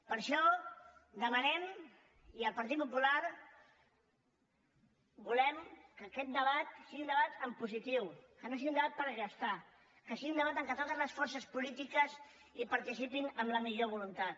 per això demanem i el partit popular volem que aquest debat sigui un debat en positiu que no sigui un debat per restar que sigui un debat en què totes les forces polítiques participin amb la millor voluntat